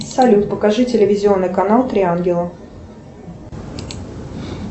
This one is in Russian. салют покажи телевизионный канал три ангела